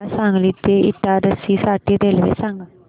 मला सांगली ते इटारसी साठी रेल्वे सांगा